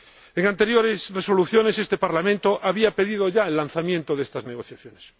En anteriores resoluciones, este Parlamento había pedido ya el lanzamiento de estas negociaciones.